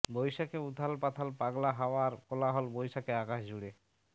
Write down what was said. বৈশাখে উথাল পাথাল পাগলা হাওয়ার কোলাহল বৈশাখে আকাশ জুড়ে